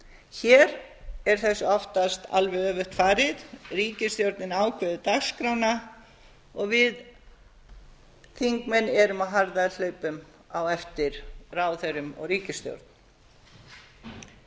hér er þessu oftast alveg öfugt farið ríkisstjórnin ákveður dagskrána og við þingmenn erum á harðahlaupum á eftir ráðherrum og ríkisstjórn stundum er það